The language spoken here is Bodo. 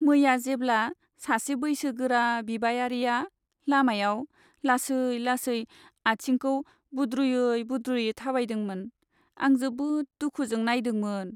मैया जेब्ला सासे बैसोगोरा बिबायारिया लामायाव लासै लासै आथिंखौ बुद्रुयै बुद्रुयै थाबायदोंमोन आं जोबोद दुखुजों नायदोंमोन।